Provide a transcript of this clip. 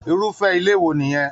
Irufẹ ilé wo nìyẹn?